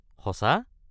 সঁচা!?